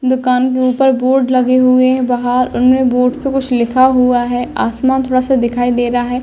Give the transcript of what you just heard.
दुकान के ऊपर बोर्ड लगे हुए हैं। बाहर उन्होंने बोर्ड पे कुछ लिखा हुआ है। आसमान थोड़ा सा दिखाई दे रहा है।